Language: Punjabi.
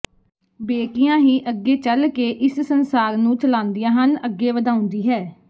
ਬੇਟੀਆਂ ਹੀ ਅੱਗੇ ਚਲਕੇ ਇਸ ਸੰਸਾਰ ਨੂੰ ਚਲਾਂਦੀਆਂ ਹਨ ਅੱਗੇ ਵਧਾਉਂਦੀ ਹੈ